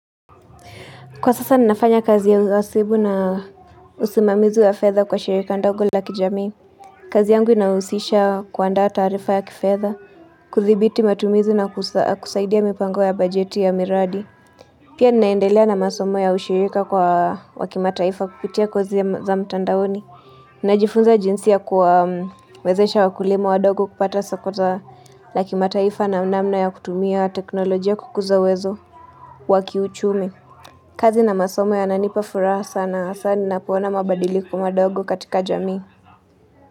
Kwa sasa ninafanya kazi ya usibu na usimamizi ya fedha kwa shirika ndogo la kijami kazi yangu inahusisha kuandaa taarifa ya kifedha kuthibiti matumizi na kusaidia mipango ya bajeti ya miradi Pia ninaendelea na masomo ya ushirika kwa wakimataifa kupitia kozi za mtandaoni Najifunza jinsi ya kuwawezesha wakulima wadogo kupata soko za na kimataifa na namna ya kutumia teknolojia kukuza wezo wakiuchumi kazi na masomo yananipa furaha sana hasa ninapoona mabadiliko madogo katika jamii.